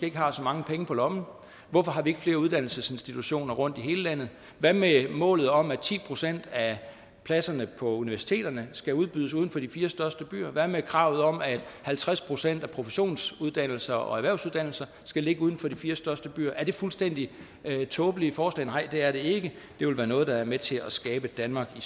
ikke har så mange penge på lommen hvorfor har vi ikke flere uddannelsesinstitutioner rundt i hele landet hvad med målet om at ti procent af pladserne på universiteterne skal udbydes uden for de fire største byer hvad med kravet om at halvtreds procent af professionsuddannelserne og erhvervsuddannelserne skal ligge uden for de fire største byer er det fuldstændig tåbelige forslag nej det er det ikke det vil være noget der er med til at skabe et danmark i